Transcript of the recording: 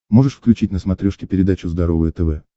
можешь включить на смотрешке передачу здоровое тв